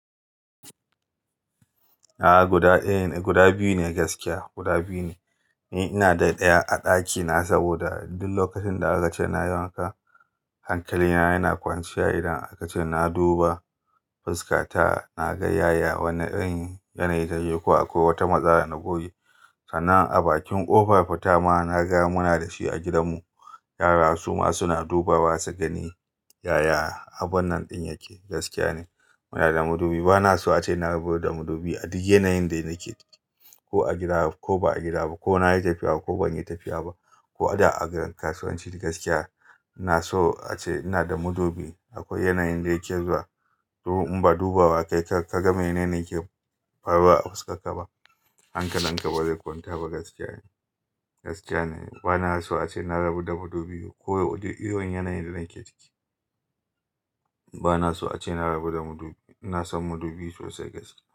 A'a guda biyu ne gaskiya, guda biyu ne. Ni ina da ɗaya a ɗakina saboda duk lokacin da aka ce na yi wanka hankali na yana kwancewa idan aka ce na duba fuska ta na ga yaya wane irin yanayi take ko akwai wata matsala na goge. Sannan abakin ƙofar fita ma na ga muna da shi a gidanmu. Yara su ma suna dubawa su gani yaya abun nan ɗin yake gaskiya ne. Muna da madubi bana so ace na rabu da madubi a duk yanayin da nake ko a gida ko ba a gida ba ko na yi tafiya ko ban yi tafiya ba ko a da a kasuwanci gaskiya. Na so ace ina da madubi akwai yanayin da yake zuwa in ba duba wa kai ka ga me nane yake faruwa a fuskarka ba hankalinka ba zai kwanta ba gaskiya ne, gaskiya ne. Bana so ace na rabu da madubi ko a duk irin yanayin da nake ciki. Bana so ace na rabu da madubi. Ina san madubi sosai gaskiya.